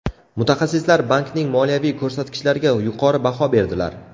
Mutaxassislar bankning moliyaviy ko‘rsatkichlariga yuqori baho berdilar.